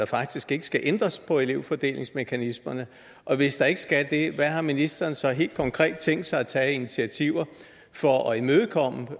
faktisk ikke skal ændres på elevfordelingsmekanismerne og hvis der ikke skal det hvad har ministeren så helt konkret tænkt sig at tage af initiativer for at imødekomme de